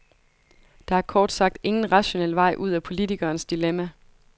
Der er kort sagt ingen rationel vej ud af politikerens dilemma.